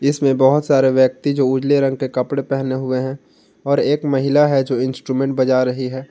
इसमें बहोत सारे व्यक्ति जो उजले रंग के कपड़े पहने हुए हैं और एक महिला हैं जो इंस्ट्रुमेंट बजा रही है।